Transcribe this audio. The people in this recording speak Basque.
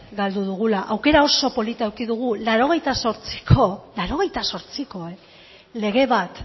galdu dugu aukera oso polita eduki dugu laurogeita zortziko lege bat